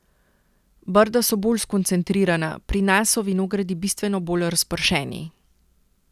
Brda so bolj skoncentrirana, pri nas so vinogradi bistveno bolj razpršeni.